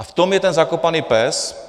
A v tom je ten zakopaný pes.